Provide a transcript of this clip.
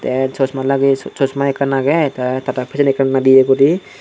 te chosma lageye chosma ekka agey te tara pisendi ekkan nadeye guri.